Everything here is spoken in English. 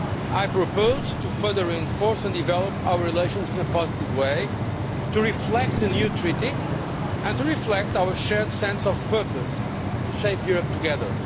I proposed further enforcing and developing our relations in a positive way to reflect the new treaty and to reflect our shared sense of purpose to shape Europe together.